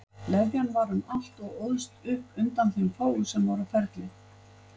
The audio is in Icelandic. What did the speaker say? Leðjan var um allt og óðst upp undan þeim fáu sem voru á ferli.